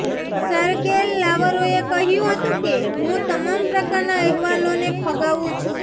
Sergei લાવરોવે કહ્યું હતુંં કે હું તમામ પ્રકારના અહેવાલોને ફગાવું છું